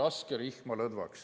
Ärge laske rihma lõdvaks!